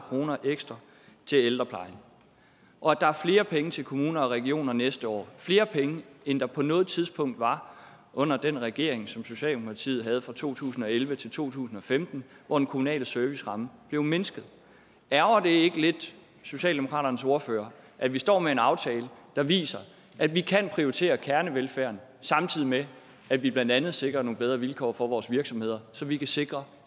kroner ekstra til ældreplejen og at der er flere penge til kommuner og regioner næste år flere penge end der på noget tidspunkt var under den regering som socialdemokratiet havde fra to tusind og elleve til to tusind og femten hvor den kommunale serviceramme blev mindsket ærgrer det ikke lidt socialdemokratiets ordfører at vi står med en aftale der viser at vi kan prioritere kernevelfærden samtidig med at vi blandt andet sikrer nogle bedre vilkår for vores virksomheder så vi kan sikre